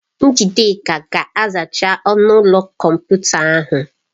Njideka ga-azacha ọnụ ụlọ kọmputa ahụ.